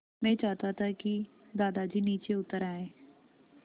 मैं चाहता था कि दादाजी नीचे उतर आएँ